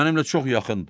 Mənimlə çox yaxındır.